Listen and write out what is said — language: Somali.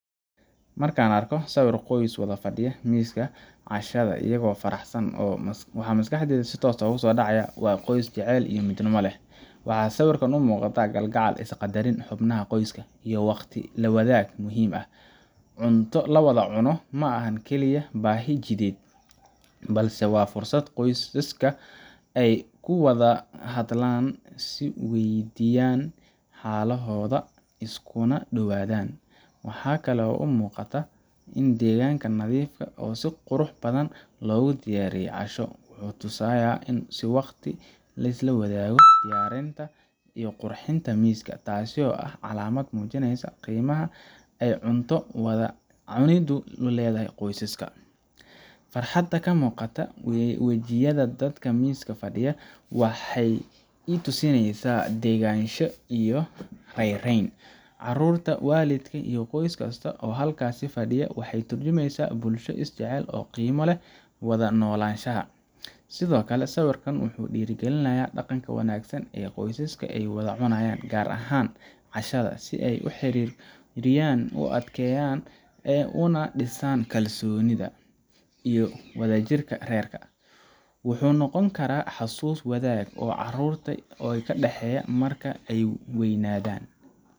Marka aan arko sawir qoys wada fadhiya miiska cashada iyagoo faraxsan, waxa maskaxdayda si toos ah ugu soo dhacaya waa qoys jacayl iyo midnimo leh. Waxaa sawirkan ka muuqata kalgacal, is-qadarinta xubnaha qoyska, iyo waqti la wadaagid muhiim ah. Cunto wada cunto ma aha keliya baahi jidheed, balse waa fursad qoysaska ay ku wada hadlaan, is weydiiyaan xaaladooda, iskuna dhowaadaan. Waxaa kale oo aan arkaa deegaan nadiif ah oo si qurux badan loogu diyaariyey casho. Wuxuu tusayaa in waqti la siiyey diyaarinta iyo qurxinta miiska, taasoo ah calaamad muujinaysa qiimaha ay cunto wada cuniddu u leedahay qoyskaas. Farxadda ka muuqata wejiyada dadka miiska fadhiya waxay i tusinaysaa deganaansho iyo raynrayn. Caruurta, waalidka, iyo qof kasta oo halkaas fadhiya waxay tarjumayaan bulsho is jecel oo qiimo u leh wada noolaanshaha. Sidoo kale, sawirkan wuxuu dhiirrigelinayaa dhaqanka wanaagsan ee ah in qoysaska ay wada cunaan gaar ahaan cashada si ay xiriirkooda u adkeeyaan una dhisaan kalsoonida iyo wadajirka reerka. Wuxuu noqon karaa xasuus wadaag oo caruurta u dhaxaysa marka ay weynaadaan.